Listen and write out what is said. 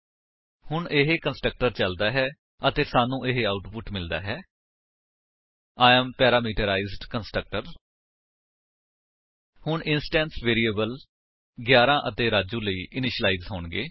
ਹੁਣ ਇਹ ਕੰਸਟਰਕਟਰ ਚਲਦਾ ਹੈ ਅਤੇ ਸਾਨੂੰ ਇਹ ਆਉਟਪੁਟ ਮਿਲਦਾ ਹੈ I ਏਐਮ ਪੈਰਾਮੀਟਰਾਈਜ਼ਡ ਕੰਸਟ੍ਰਕਟਰ ਹੁਣ ਇੰਸਟੈਂਸ ਵੇਰਿਏਬਲਸ 11 ਅਤੇ ਰਾਜੂ ਲਈ ਇਨਿਸ਼ੀਲਾਇਜ ਹੋਣਗੇ